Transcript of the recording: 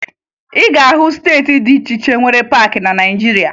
Ị ga-ahụ steeti dị iche iche nwere paakị na Naịjirịa